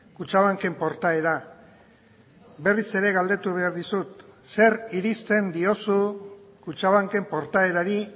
kutxabanken portaera berriz ere galdetu behar dizut zer irizten diozu kutxabanken portaerari